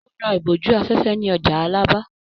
Ó ra ìbòjú-afẹ́fẹ́ ní ọjà Alábà.